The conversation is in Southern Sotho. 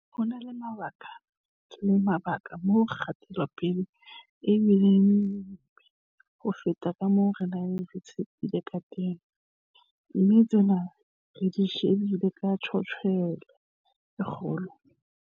Ho na le dibaka moo kgatelopele e bi leng monyebe ho feta ka moo re neng re tshepile kateng, mme tsena re di shebile ka tjantjello e kgolo.